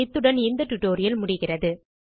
இத்துடன் இந்த டியூட்டோரியல் முடிகிறது